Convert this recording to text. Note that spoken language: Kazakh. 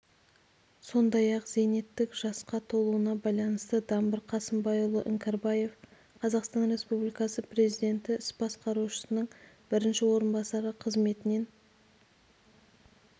сондай-ақ зейнеттік жасқа толуына байланысты дабыр қамысбайұлы іңкәрбаев қазақстан республикасы президенті іс басқарушысының бірінші орынбасары қызметінен